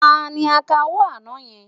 Ta ni akawó àná yẹn?